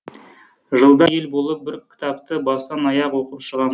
жылда ел болып бір кітапты бастан аяқ оқып шығам